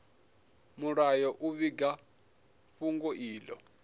mulayo u vhiga fhungo ilo